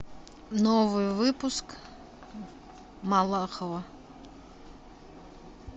новый выпуск малахова